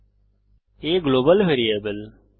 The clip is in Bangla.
a একটি গ্লোবাল ভ্যারিয়েবল